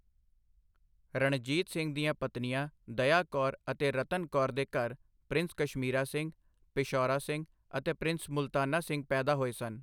ਰਣਜੀਤ ਸਿੰਘ ਦੀਆਂ ਪਤਨੀਆਂ ਦਯਾ ਕੌਰ ਅਤੇ ਰਤਨ ਕੌਰ ਦੇ ਘਰ ਪ੍ਰਿੰਸ ਕਸ਼ਮੀਰਾ ਸਿੰਘ, ਪਿਸ਼ਾਊਰਾ ਸਿੰਘ ਅਤੇ ਪ੍ਰਿੰਸ ਮੁਲਤਾਨਾ ਸਿੰਘ ਪੈਦਾ ਹੋਏ ਸਨ।